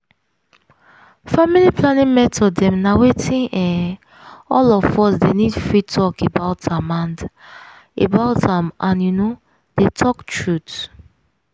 family planning method dem na wetin um all of us dey nid free talk about am and about am and you know dey talk truth.